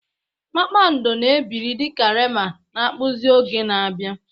Kpakpando na-ebili dị ka Rema na-akpụzi oge na-abịa.